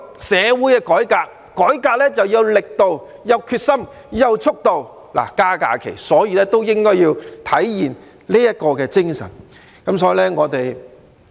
社會要改革，就要有力度、決心、速度，增加假期也應該體現這種精神。